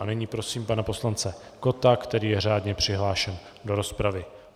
A nyní prosím pana poslance Kotta, který je řádně přihlášen do rozpravy.